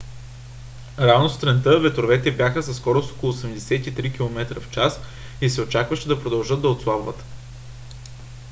рано сутринта ветровете бяха със скорост около 83 км/ч и се очакваше да продължат да отслабват